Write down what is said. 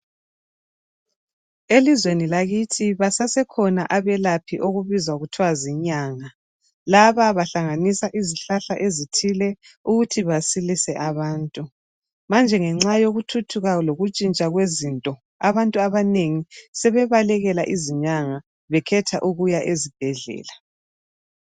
Elizweni lakithi basasekhona abelaphi okubizwa kuthwa zinyanga. Laba bahlanganisa izihlahla ezithile ukuthi basilise abantu. Manje ngenxa yokuthuthuka lokutshintsha kwezinto abantu abanengi sebe balekela izinyanga bekhetha ukuya ezibhedlela.